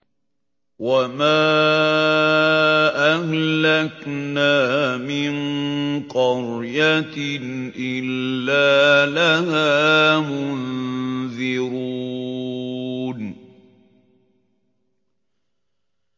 وَمَا أَهْلَكْنَا مِن قَرْيَةٍ إِلَّا لَهَا مُنذِرُونَ